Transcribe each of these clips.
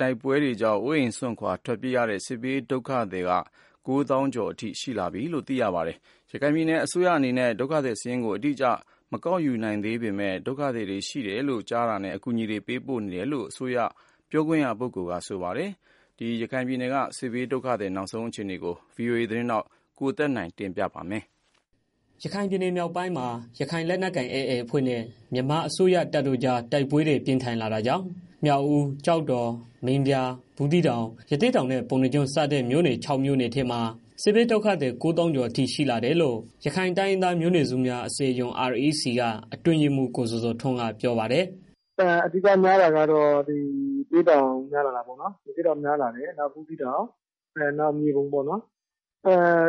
တိုက်ပွဲတွေအကြား အိုးအိမ်စွန့်ခွာထွက်ပြေးကြရတဲ့ စစ်ပြေးဒုက္ခသည်အရေအတွက်ဟာ ၉ သောင်းကျော်အထိ ရှိလာပြီလို့ သိရပါတယ်။ ရခိုင်ပြည်နယ် အစိုးရအနေနဲ့ ဒုက္ခသည်စာရင်းကို အတိအကျ မကောက်ယူနိုင်ပေမယ့်၊ ဒုက္ခသည်တွေရှိတယ်လို့ သိရတာနဲ့ အကူအညီတွေ ပို့ပေးနေတယ်လို့ အစိုးရ ပြောခွင့်ရသူက ပြောပါတယ်။ ရခိုင်ပြည်နယ်တွင်းက စစ်ပြေးဒုက္ခသည်တွေအခြေအနေနဲ့ ပတ်သက်လို့ ကိုသက်နိုင် စုံစမ်းမေးမြန်းထားတာပါ။ ရခိုင်ပြည်မြောက်ပိုင်းမှာ ရခိုင်လက်နက်ကိုင် AA အဖွဲ့နဲ့ မြန်မာအစိုးရ စစ်တပ်တို့ကြား တိုက်ပွဲတွေ ပြန်းထန်လာတာကြောင့် မြောက်ဦး၊ ကျောက်တော်၊ မင်းပြား၊ ဘူးသီးတောင်၊ ရသေ့တောင်နဲ့ ပုဏ္ဍားကျွန်းစတဲ့ မြို့နယ် ခြောက်မြို့နယ် ထဲမှာ စစ်ဘေးဒုက္ခသည် ၉သောင်းကျော်အထိရှိလာတယ်လို့ ရခိုင်တိုင်းရင်းသားမျိုး နွယ်များအစည်းအရုံး (REC) က အတွင်းရေးမှူး ကိုဇော်ဇော်ထွန်း ကပြောပါတယ်။ “အဓိကများလာတာကတော့ ရသေ့တောင် များလာတာပေါ့နော်။ ရသေ့တောင်များလာတယ်။ နောက်ပြီးတော့ ဘူးသီးတောင်၊ မြေပုံပေါ့နော်။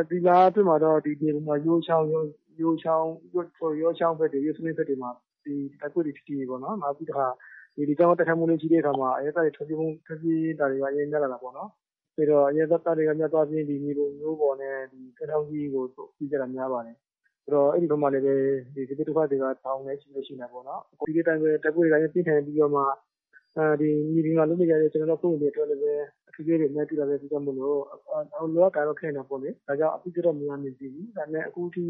ဒီလအတွင်းမှာတော့ မြေပုံ၊ ယောချောင်းဖက်တွေမှာ တိုက်ပွဲတွေ ဖြစ်နေသလို လေကြောင်း တိုက်တာတွေကြောင့် အရပ်သားတွေ ထွက်ပြေးတာလည်း များလာတာပေါ့နော်။ အရပ်သားတွေက များသောအားဖြင့် မြေပုံမြို့ပေါ်နဲ့ ကမ်းထောင်းကြီးဖက်ကို ပြေးကြတာများတယ်။ အဲဒီဘက်မှာလည်း စစ်ပြေးဒုက္ခသည်က ထောင်နဲ့ချီပြီးရှိနေတယ်ပေါ့နော်။ သိတဲ့အတိုင်းပဲ တိုက်ပွဲတွေ ကလည်း ပြင်းထန်နေတာဆိုတော့ မြေပြင်မှာ လုပ်နေကြတဲ့ ကျနော်တို့အဖွဲ့ဝင်တွေကလည်း အခက်ခဲတွေ အများကြီးရှိတယ်။ လုပ်ရကိုင်ရတော့ ခက်ယဉ်းတာပေါ့ ဒါကြောင့် အတိအကျတော့ စာရင်းမရသေးဘူး ဒါပေမယ့် အခုထိ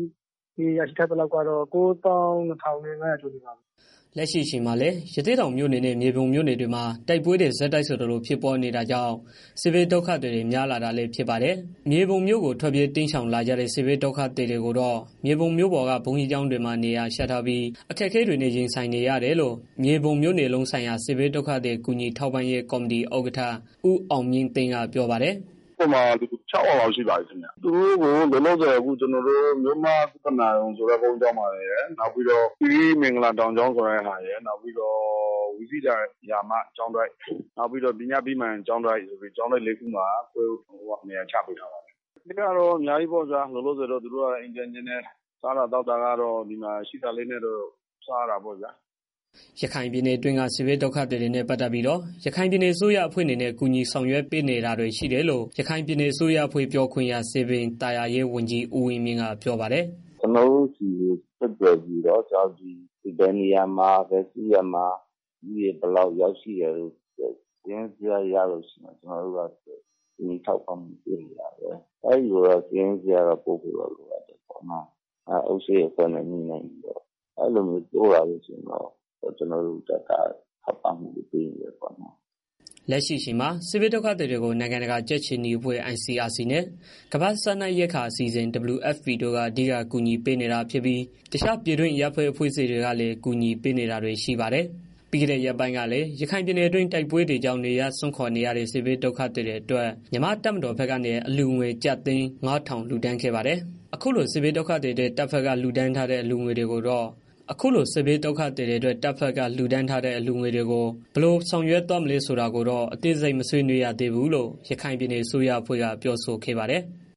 ရထားတဲ့ စာရင်းကတော့ ၉သောင်းနှစ်ထောင်နဲ့ ငါးရာကျော်နေပါပီ။” လက်ရှိအချိန်အမှာလည်း ရသေ့တောင်မြို့နယ်နဲ့ မြေပုံမြို့နယ်တွေမှာ တိုက်ပွဲတွေ ဆက်တိုက်ဆို သလိုဖြစ်နေ တာကြောင့် စစ်ဘေးဒုက္ခသည်တွေများလာတာလည်း ဖြစ်ပါတယ်။ မြေပုံမြို့ကို ထွက်ပြေးတိမ်းရှောင်လာကြတဲ့ စစ်ဘေးဒုက္ခသည်ကိုတော့ မြေပုံမြို့ပေါ်က ဘုန်းကြီးကျောင်းတွေမှာ နေရာချထားပြီး အခက်အခဲတွေနဲ့ ရင်ဆိုင်နေရတယ်လို့ မြေပုံနယ်လုံးဆိုင်ရာ စစ်ဘေးဒုက္ခသည် ကူညီထောက်ပံ့ရေးဆိုင်ရာကော်မတီ ဥက္ကဌဦးအောင်မြင့်သိန်းက ပြောပါတယ်။ “လက်ရှိမြေပုံမြို့ပေါ်မှာ စစ်ရှောင် ၆၀၀ လောက်တော့ရှိပါတယ်။ သူတို့ကို ကျနော်တို့ လောလောဆယ် မြို့မ ဝိပဿနာကျောင်းတိုက်၊နောက်ပြီးတော့ သီရိမင်္ဂလာတောင်ကျောင်းရယ် ၊ ဝိစိတ္တာရာမကျောင်းတိုက် နောက်ပြီးတော့ ပညာ့ဗိမာန်ကျောင်းတိုက် ဆိုပြီးတော့ ကျောင်းတိုက် လေးခုမှာ နေရာ ချပေးထားပါတယ်။အခက်အခဲကတော့ အများကြီးပေါ့ဗျာ လောလောဆယ်တော့ သူတို့က အိမ်ပြန်ချင်တယ်။ စားတာသောက်တာကတော့ ဒီမှာရှိတဲ့ ဟာနဲ့စားရတာပေါ့ဗျာ။” ရခိုင်ပြည်နယ်အတွင်းက စစ်ဘေးဒုက္ခသည်တွေနဲ့ ပတ်သတ်ပြီးတော့ ရခိုင်ပြည်နယ်အစိုးရအဖွဲ့အနေနဲ့ ကူညီဆောင်ရွက်ပေးနေတာတွေရှိတယ်လို့ ရခိုင်ပြည်နယ်အစိုးရအဖွဲ့ ပြောခွင့်ရ စည်ပင်သာယာ ဝန်ကြီးဦး ဝင်းမြင့်က ပြောပါတယ်။ "ကျနော်တို့ဆီကို ဆက်သွယ်ပြီးတော့ ဘယ်နေရာမှာ ဘယ်ဖြစ်ရမှာ လူဦးရေဘယ်လောက် ရောက်ရှိတယ်လို့ စာရင်းရလို့ရှိရင် ကျနော်တို့က ကူညီထောက်ပံ့မှုတွေ ပေးနေပါတယ်။ အဲဒီစာရင်းဇယားတော့ ပို့ပေးထားပေါ့။ အုပ်ချုပ်ရေးအဖွဲ့နဲ့ ညှိနှိုင်းပြီးတော့ ကျနော်တို့ဘက်က ထောက်ပံ့မှုပေးနေပါတယ်။" လက်ရှိအချိန်မှာ စစ်ဘေးဒုက္ခသည်တွေကို နိုင်ငံတကာကြက်ခြေနီအဖွဲ့ (ICRC) နဲ့ ကမ္ဘာ့စားနပ်ရိက္ခာအစီစဉ် (WFP)တို့က အဓိက ကူညီပေးနေတာဖြစ်ပြီး တစ်ခြား ပြည်းတွင်းအရပ်ဘက်အဖွဲ့အစည်းတွေကလည်း ကူညီပေးနေတာတွေရှိပါတယ်။ ပြီးခဲ့တဲ့ ရက်ပိုင်းကလည်း ရခိုင်ပြည်နယ်အတွင်း တိုက်ပွဲတွေကြောင့် နေရပ်စွန့်ခွာနေရတဲ့ စစ်ဘေးဒုက္ခသည် တွေအတွက် မြန်မာ့တပ်မတော်ကနေ အလှူငွေ ကျပ်သိန်း ၅,၀၀၀ လှူဒါန်းခဲ့ပါတယ်။ အခုလို စစ်ဘေးဒုက္ခသည်တွေအတွက် တပ်ဘက်က လှုုဒါန်းထားတဲ့ အလှူငွေတွေကိုတော့ဘယ်လို လုပ်ဆောင်သွားမယ်ဆိုတာကိုတော့ အသေးစိတ်မဆွေးနွေးရသေးဘူးလို့ ရခိုင်ပြည်နယ် အစိုးရအဖွဲ့က ပြောဆိုခဲ့ပါတယ်။